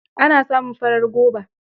Ana samun farar goba.